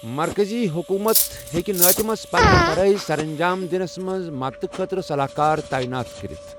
مرکٔزی حُکوٗمت ہیٚکہِ نٲطِمَس پَنٕنہِ فَرٲیِض سرانٛجام دِنَس منٛز مدتہٕ خٲطرٕ صلاح کار تعیِنات کٔرِتھ ۔